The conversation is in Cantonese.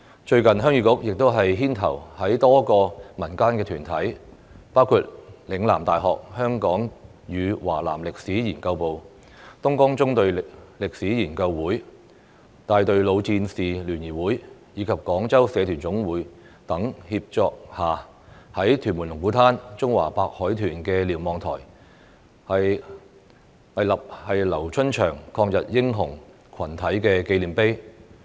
最近，新界鄉議局亦牽頭在多個民間團體，包括嶺南大學香港與華南歷史研究部、東江縱隊歷史研究會、大隊老戰士聯誼會，以及香港廣州社團總會等協作下，在屯門龍鼓灘中華白海豚瞭望台，豎立"劉春祥抗日英雄群體"紀念碑。